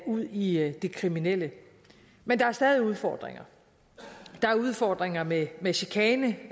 ud i i det kriminelle men der er stadig udfordringer der er udfordringer med med chikane